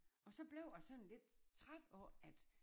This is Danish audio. Og så blev jeg sådan lidt træt af at